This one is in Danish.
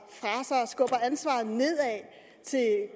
nedad til